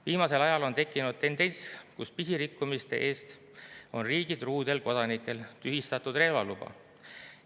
Viimasel ajal on tekkinud tendents, kus pisirikkumiste eest on riigitruudel kodanikel tühistatud relvaluba.